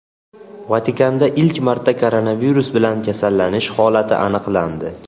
Vatikanda ilk marta koronavirus bilan kasallanish holati aniqlandi.